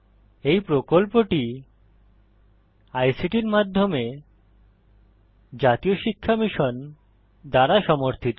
এই প্রকল্পটি আইসিটির মাধ্যমে জাতীয় শিক্ষা মিশন দ্বারা সমর্থিত